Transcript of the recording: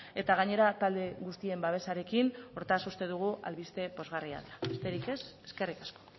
eta gainera talde guztien babesarekin hortaz uste dugu albiste pozgarria dela besterik ez eskerrik asko